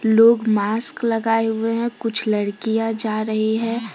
लोग मास्क लगाए हुए हैं कुछ लड़कियां जा रही हैं।